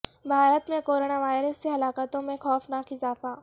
بھارت میں corona virus سے ہلاکتوں میں خوفناک اضافہ